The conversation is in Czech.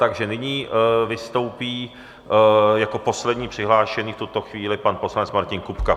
Takže nyní vystoupí jako poslední přihlášený v tuto chvíli pan poslanec Martin Kupka.